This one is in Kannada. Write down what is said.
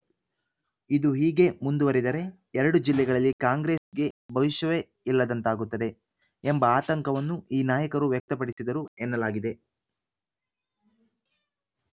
ಇದು ಹೀಗೇ ಮುಂದುವರೆದರೆ ಎರಡು ಜಿಲ್ಲೆಗಳಲ್ಲಿ ಕಾಂಗ್ರೆಸ್‌ಗೆ ಭವಿಷ್ಯವೇ ಇಲ್ಲದಂತಾಗುತ್ತದೆ ಎಂಬ ಆತಂಕವನ್ನು ಈ ನಾಯಕರು ವ್ಯಕ್ತಪಡಿಸಿದರು ಎನ್ನಲಾಗಿದೆ